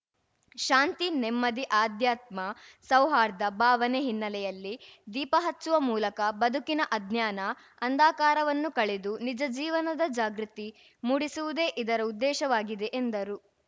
ಶಾಂತಿ ನೆಮ್ಮದಿ ಆಧ್ಯಾತ್ಮ ಸೌಹರ್ದ ಭಾವನೆ ಹಿನ್ನೆಲೆಯಲ್ಲಿ ದೀಪ ಹಚ್ಚುವ ಮೂಲಕ ಬದುಕಿನ ಅಜ್ಞಾನ ಅಂಧಾಕಾರವನ್ನು ಕಳೆದು ನಿಜಜೀವನದ ಜಾಗೃತಿ ಮೂಡಿಸುವುದೇ ಇದರ ಉದ್ದೇಶವಾಗಿದೆ ಎಂದರು